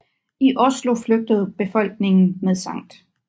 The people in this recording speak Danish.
I Oslo flygtede befolkningen med Skt